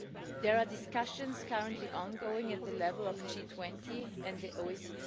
There are discussions currently ongoing at the level of G20 and the OECD.